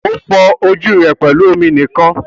O fọ ojú rẹ pẹlú omi nìkan.